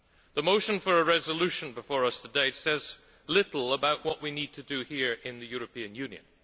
The motion for a resolution before us today says little about what we need to do here in the European Union.